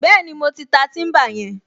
Bẹ́ẹ̀ni, mo ti ta tíḿbà yẹn